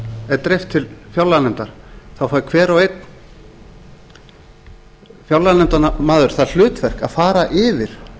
er dreift til fjárlaganefndar þá fær hver og einn fjárlaganefndarmaður það hlutverk að fara yfir